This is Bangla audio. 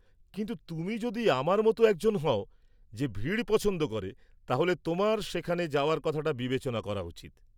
কিন্তু, তুমি যদি আমার মতো একজন হও যে ভিড় পছন্দ করে, তাহলে তোমার সেখানে যাওয়ার কথাটা বিবেচনা করা উচিত।